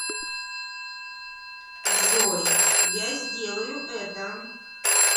джой я сделаю это